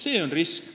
See on risk.